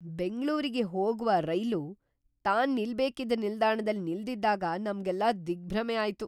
ಬೆಂಗ್ಳೂರಿಗೆ ಹೋಗ್ವ ರೈಲು ತಾನ್ ನಿಲ್ಬೇಕಿದ್ದ ನಿಲ್ದಾಣದಲ್ಲಿ ನಿಲ್ದಿದ್ದಾಗ ನಮ್ಗೆಲ್ಲಾ ದಿಗ್ಭ್ರಮೆ ಆಯ್ತು.